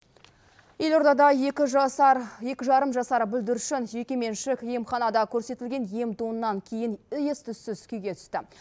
елордада екі жасар екі жарым жасар бүлдіршін жеке меншік емханада көрсетілген ем домнан кейін ес түссіз күйге түсті